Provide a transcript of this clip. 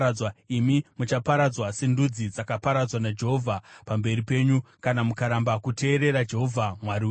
Imi muchaparadzwa sendudzi dzakaparadzwa naJehovha pamberi penyu, kana mukaramba kuteerera Jehovha Mwari wenyu.